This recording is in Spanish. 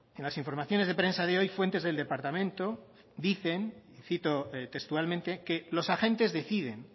en las informaciones de prensa de hoy fuentes del departamento dicen y cito textualmente que los agentes deciden